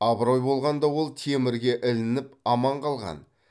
абырой болғанда ол темірге ілініп аман қалған